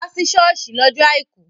Wá sí ṣọ́ọ̀ṣì lọ́jọ́ àìkú!